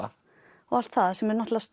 og allt það sem eru náttúrulega